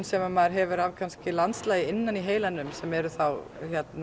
sem maður hefur kannski af landslagi innan í heilanum sem eru þá